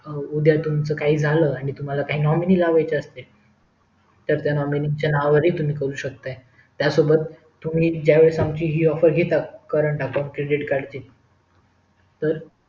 या उदया तुम्हाला काही झालं आणि तुम्हाला काही nominee लावायचे असेल तर त्या nominee च्या नावावर हि तुम्ही करू शेकता त्यासोबत तुम्ही ज्या वेळेस आमची हि ऑफर घेता current account credit card ची तर